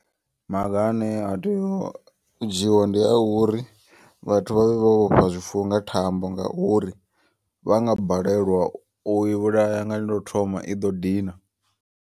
Maga ane a tea u dzhiiwa ndi a uri vhathu vhavhe vho vhofha zwifuwo nga thambo. Ngauri vhanga balelwa uyi vhulaya nga lwo thoma i ḓo dina.